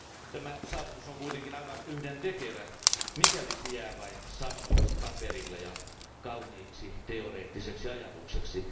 Tämä saavutus on kuitenkin aivan yhdentekevä, mikäli se jää vain sanoiksi paperille ja kauniiksi teoreettiseksi ajatukseksi.